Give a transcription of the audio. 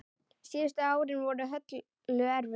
Síðustu árin voru Höllu erfið.